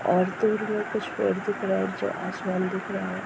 और दूर में कुछ पेड़ दिख रहा है। जो आसमान दिख रहा है।